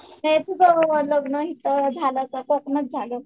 तर तुझं लग्न इथं झालं का कोकणात झालं?